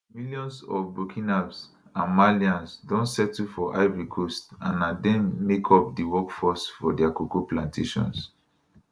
millions of burkinabs and malians don settle for ivory coast and na dem make up di workforce for dia cocoa plantations